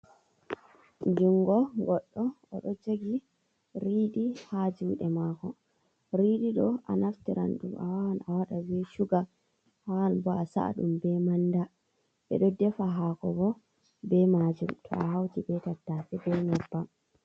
Jingo goddo oɗo jugi riiɗi ha juɗe mako riidi ɗo a naftiran ɗum awawan a wada be suga awawan bo a saɗum be manɗa ɓe ɗo ɗefa hako bo be majum to a hauti be tatase be nyebbam.